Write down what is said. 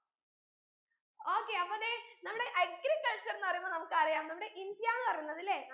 okay അപ്പോ ദേ നമ്മടെ agriculture ന്ന് പറീമ്പോ നമുക്കറിയാം നമ്മുടെ ഇന്ത്യാന്ന് പറീന്നതല്ലേ